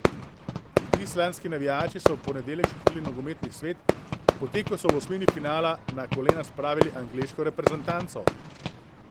Islandski navijači so v ponedeljek šokirali nogometni svet, potem ko so v osmini finala na kolena spravili angleško reprezentanco.